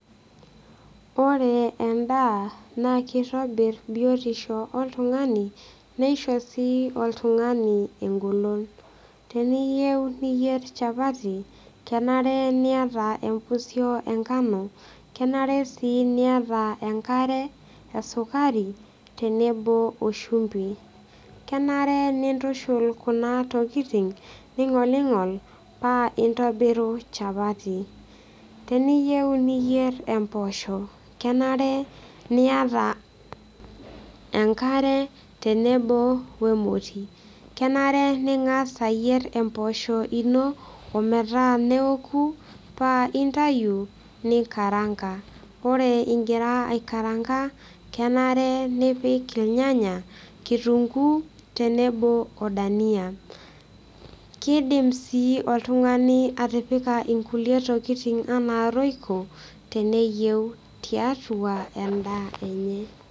Ore endaa naa kitobir biotisho oltungani nisho sii oltungani engolon . Teniyieu niyier chapati kenare niata empusio enkano , kenare sii niata enkare , esukari tenebo oshumbi . Kenare nintushul kuna tokitin ningolingol paa intobiru chapati . Teniyieu niyieu imposho kenare niata enkare tenebo wemoti , kenare ningas ayier emposho ino ometaa neoku paa intayu ninkaranka, ore ingira aikaranka , kenare nipik irnyanya , kitunguu tenebo odania , kidim sii oltungani atipika nkulie tokitin anaa royco teneyieu tiatua endaa enye.